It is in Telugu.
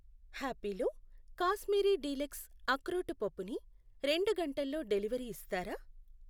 హ్యాపిలో కాశ్మీరీ డీలక్స్ అక్రోటు పప్పు ని రెండు గంటల్లో డెలివరీ ఇస్తారా?